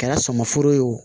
Kɛra sɔmi foro ye wo